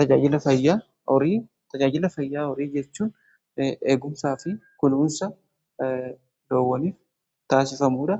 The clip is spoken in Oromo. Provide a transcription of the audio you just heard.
Tajaajila fayyaa horii jechuun eegumsaa fi kunuunsa loowwaniif taasifamuudha.